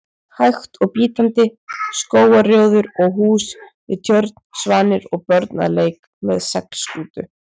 hægt og bítandi: skógarrjóður og hús við tjörn, svanir og börn að leik með seglskútu.